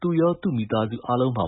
သူရော သူမိသားစုအားလုံးပါ